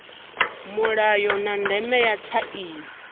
mulayo na ndeme ya tsaino